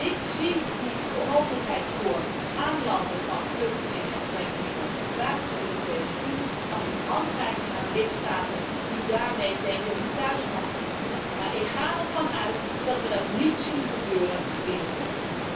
Ik zie die mogelijkheid voor aanlanden van vluchtelingen en drenkelingen buiten de Europese Unie als een handreiking aan lidstaten die daarmee denken hun thuismarkt te bedienen, maar ik ga ervan uit dat dit niet gebeurt binnenkort.